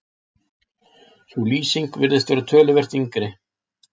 sú lýsing virðist vera töluvert yngri